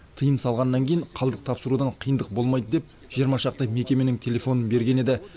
тыйым салғаннан кейін қалдық тапсырудан қиындық болмайды деп жиырма шақты мекеменің телефонын берген еді